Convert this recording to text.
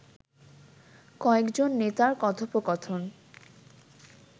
কয়েকজন নেতার কথোপকথন